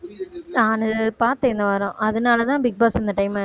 நானு பாத்தேன் இந்த வாரம் அதனாலதான் பிக்பாஸ் இந்த time